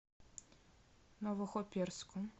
новохоперском